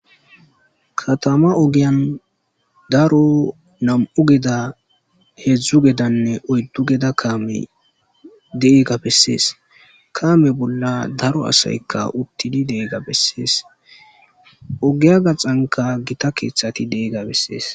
katama ogiyan daro nam7u geeda heedzdzu gedanne oyddu geda kaame deega bessees kaame bolla daro asaykka uttili deegga bessees ogiya gaxanka gita keeththati deega bessees